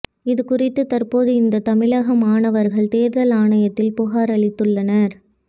இதுகுறித்து தற்போது இந்த தமிழக மாணவர்கள் தேர்தல் ஆணையத்தில் புகார் அளித்துள்ளனர்